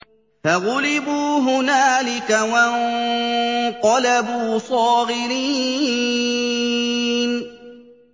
فَغُلِبُوا هُنَالِكَ وَانقَلَبُوا صَاغِرِينَ